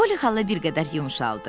Poly xala bir qədər yumşaldı.